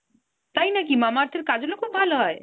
তাই নাকি Mamaearth এর kajal ও খুব ভালো হয়?